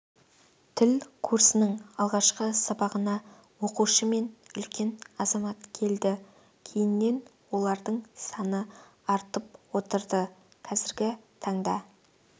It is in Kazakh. тіл курсының алғашқы сабағына оқушы мен үлкен азамат келді кейіннен олардың саны артып отырды қазіргі таңда